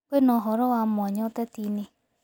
kwĩna ũhoro wa mwanya utetiini